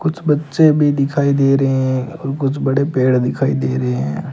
कुछ बच्चे भी दिखाई दे रहे हैं और कुछ बड़े पेड़ दिखाई दे रहे हैं।